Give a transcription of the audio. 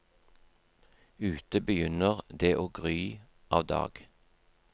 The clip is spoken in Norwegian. Ute begynner det å gry av dag.